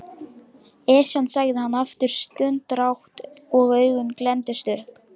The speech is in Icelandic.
Esjan sagði hann aftur stundarhátt og augun glenntust upp.